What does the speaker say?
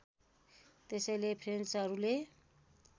त्यसैले फ्रेन्चहरूले